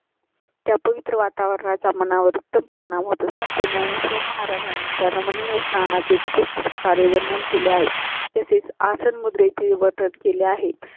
त्या पवित्र वातावरणा चा मनावर उत्तम परिणाम होत. संत ज्ञानेश्वर महाराजांनी तर मणी स्नाना चे उत्कृष्ट प्रकारे वर्णन केले आहे. तसेच आसन मुद्रे विवरण केले आहेत